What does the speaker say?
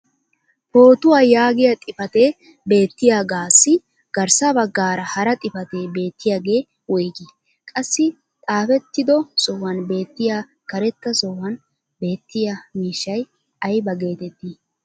Pootuwa yaagiya xifatee beettiyaagaassi garssa bagaara hara xifatee beettoyaagee woygii? Qassi i xaafettido sohuwan beetiya karetta sohuwan beettiya miishshay aybba geetettii?